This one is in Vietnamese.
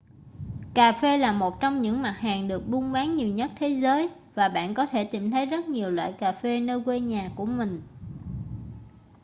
cà phê là một trong những mặt hàng được buôn bán nhiều nhất thế giới và bạn có thể tìm thấy rất nhiều loại cà phê nơi quê nhà của mình